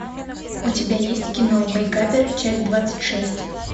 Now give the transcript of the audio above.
у тебя есть кино мейкаперы часть двадцать шесть